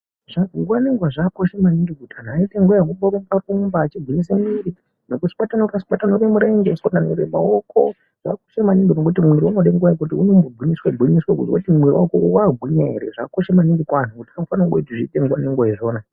Nguwa nenguwa zvakakosha maningi kuti anhu aite nguwa yekurumba rumba achihwinyise mwiri nekuswatanure swatanure mirenje, kuswatanure maoko zvakakosha maningi nekuti mwiri unode nguwa yekuiti unombogwinyiswa gwinyiswa kuzwe kuti mwoyo wako wakagwinya ere zvakakosha maningi kwazvo tinofanira kungozviita nguwa ngenguwa izvozvo.